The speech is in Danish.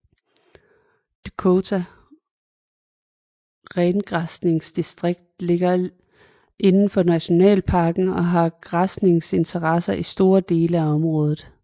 Duokta rengræsningsdistrikt ligger indenfor nationalparken og har græsningsinteresser i store deler af området